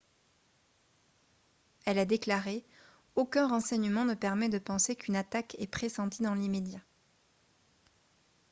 elle a déclaré :« aucun renseignement ne permet de penser qu'une attaque est pressentie dans l’immédiat »